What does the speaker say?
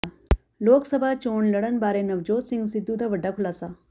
ਲੋਕ ਸਭਾ ਚੋਣ ਲੜਨ ਬਾਰੇ ਨਵਜੋਤ ਸਿੰਘ ਸਿੱਧੂ ਦਾ ਵੱਡਾ ਖ਼ੁਲਾਸਾ